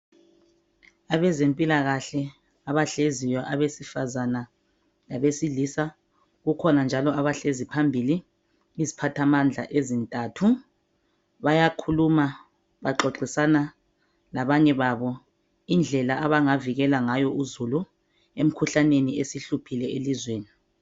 Abezempilakahle abahleziyo, abesifazana labesilisa, kukhona njalo abahlezi phambili iziphathamandla ezintantu. Bayakhuluma baxoxisana labanye babo indlela abangavikela ngayo uzulu imikhuhlane esihluphile elizweni.